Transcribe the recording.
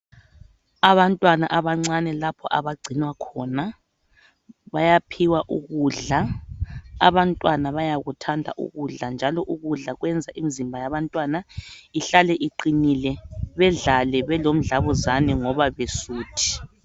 Abantwana abancane lapho abagcinwa khona bayaphiwa ukudla . Abantwana bayakuthanda ukudla, njalo ukudla kwenza imizimba yabantwana ihlale iqinile .Bedlale belomdlabuzane ngoba besuthi.